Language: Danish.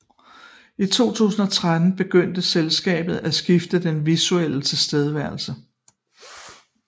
I 2013 begyndte selskabet at skifte den visuelle tilstedeværelse